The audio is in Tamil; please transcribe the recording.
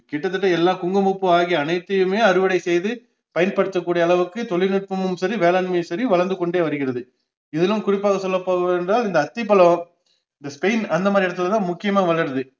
கிட்டத்தட்ட எல்லா குங்குமப்பூ ஆகிய அனைத்தியுமே அறுவடை செய்து பயன்படுத்தக்கூடிய அளவுக்கு தொழில்நுட்பமும் சரி, வேளாண்மையும் சரி வளர்ந்துகொண்டே வருகிறது இதிலும் குறிப்பாக சொல்லப்போவதென்றால் இந்த அத்திப்பழம் இந்த ஸ்பைன் அந்தமாதிரி இடத்துல தான் முக்கியமா வளருது